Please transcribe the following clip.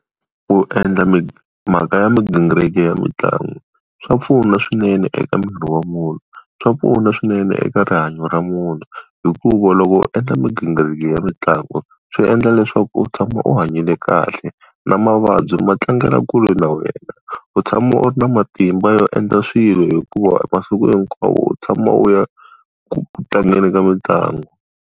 Ku endla mhaka ya migingiriko ya mitlangu, swa pfuna swinene eka miri wa munhu, swa pfuna swinene eka rihanyo ra munhu hikuva loko u endla migingiriko ya mitlangu, swi endla leswaku u tshama u hanyile kahle, na mavabyi ma tlangela kule na wena. U tshama u ri na matimba yo endla swilo hikuva masiku hinkwawo u tshama u ya ku tlangeni ka mitlangu.